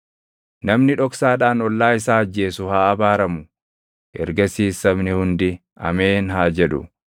“Namni dhoksaadhaan ollaa isaa ajjeesu haa abaaramu.” Ergasiis sabni hundi, “Ameen!” haa jedhu.